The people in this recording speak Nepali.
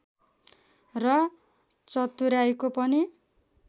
र चतुर्‍याइँको पनि